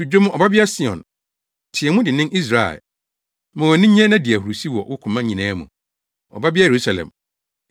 To dwom, Ɔbabea Sion; teɛ mu dennen, Israel! Ma wʼani nnye, na di ahurusi wɔ wo koma nyinaa mu, Ɔbabea Yerusalem!